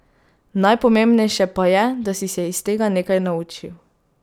Najpomembnejše pa je, da si se iz tega nekaj naučil.